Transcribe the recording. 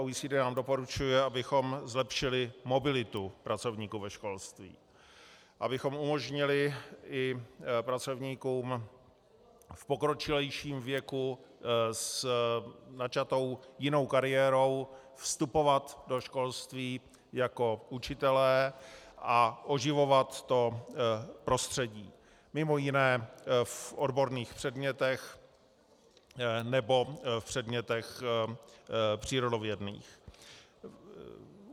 OECD nám doporučuje, abychom zlepšili mobilitu pracovníků ve školství, abychom umožnili i pracovníkům v pokročilejším věku s načatou jinou kariérou vstupovat do školství jako učitelé a oživovat to prostředí, mimo jiné v odborných předmětech nebo v předmětech přírodovědných.